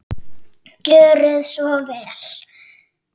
Gjörið svo vel!